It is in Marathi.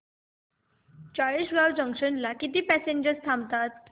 चाळीसगाव जंक्शन ला किती पॅसेंजर्स थांबतात